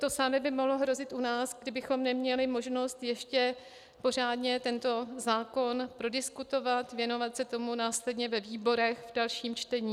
To samé by mohlo hrozit u nás, kdybychom neměli možnost ještě pořádně tento zákon prodiskutovat, věnovat se tomu následně ve výborech v dalším čtení.